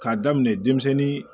K'a daminɛ denmisɛnnin